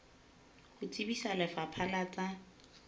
ho tsebisa lefapha la tsa